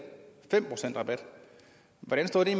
fem procent rabat hvordan står det